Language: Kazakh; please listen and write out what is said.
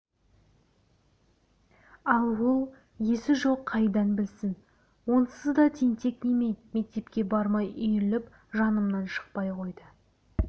ал ол есі жоқ қайдан білсін онсыз да тентек неме мектепке бармай үйіріліп жанымнан шықпай қойды